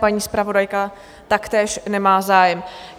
Paní zpravodajka taktéž nemá zájem.